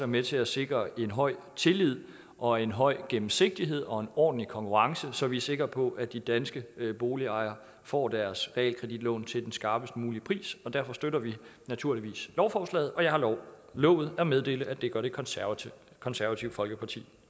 med til at sikre en høj tillid og en høj gennemsigtighed og en ordentlig konkurrence så vi er sikre på at de danske boligejere får deres realkreditlån til den skarpest mulige pris derfor støtter vi naturligvis lovforslaget og jeg har lovet at meddele at det gør det konservative konservative folkeparti